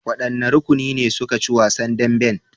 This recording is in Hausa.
Wannan rukuni ne suka ci wasan dambin?